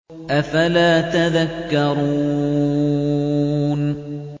أَفَلَا تَذَكَّرُونَ